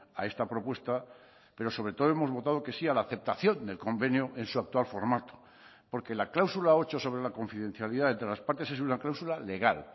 a esta propuesta pero sobre todo hemos votado que sí a la aceptación del convenio en su actual formato porque la cláusula ocho sobre la confidencialidad entre las partes es una cláusula legal